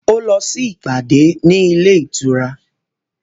Ó lọ ṣe ìpàdé ní ilé ìtura